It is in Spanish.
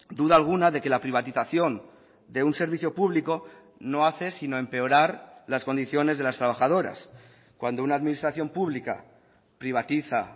duda alguna de que la privatización de un servicio público no hace sino empeorar las condiciones de las trabajadoras cuando una administración pública privatiza